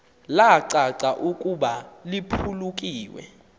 lacaca ukuba liphulukiwe